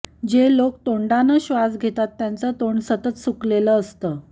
जे लोक तोंडाने श्वास घेतात त्यांचं तोंड सतत सुकलेलं असतं